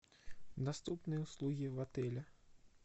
доступные услуги в отеле